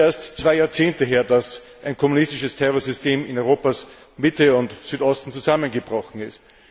Es ist ja erst zwei Jahrzehnte her, dass ein kommunistisches Terrorsystem in Europas Mitte und Südosten zusammengebrochen ist.